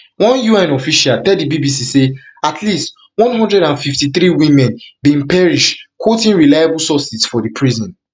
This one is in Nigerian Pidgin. one un official tell di bbc say at least one hundred and fifty-three women bin perish quoting reliable sources for di prison